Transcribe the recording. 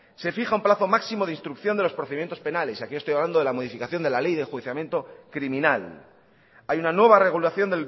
se fija un plazo máximo de instrucción de los procedimientos penales y aquí estoy hablando de la modificación de la ley de enjuiciamiento criminal hay una nueva regulación